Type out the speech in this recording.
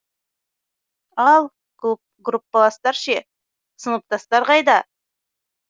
ал группаластар ше сыныптастар қайда